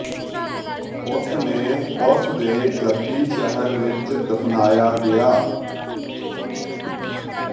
ਉਸ ਨੇ ਉਸ ਦੇ ਜੱਦੀ ਸ਼ਹਿਰ ਵਿੱਚ ਦਫ਼ਨਾਇਆ ਗਿਆ